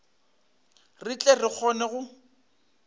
re tle re kgone go